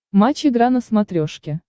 матч игра на смотрешке